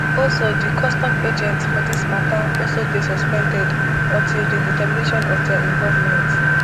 also di custom agents for dis mata also dey suspended until di determination of dia involvement